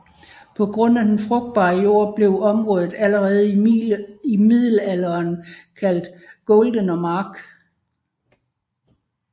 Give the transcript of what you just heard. På grund af den frugtbare jord blev området allerede i middelalderen kaldt Goldene Mark